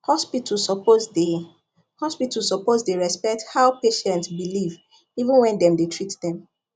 hospital suppose dey hospital suppose dey respect how patient believe even when dem dey treat dem